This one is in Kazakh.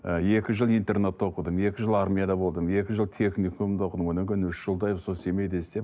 ы екі жыл интернатта оқыдым екі жыл армияда болдым екі жыл техникумда оқыдым одан кейін үш жылдай сол семейде істеп